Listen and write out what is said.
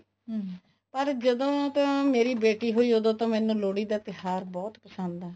ਹਮ ਪਰ ਜਦੋਂ ਤੋਂ ਮੇਰੀ ਬੇਟੀ ਹੋਈ ਓਦੋਂ ਤੋਂ ਮੈਨੂੰ ਲੋਹੜੀ ਦਾ ਤਿਉਹਾਰ ਬਹੁਤ ਪਸੰਦ ਹੈ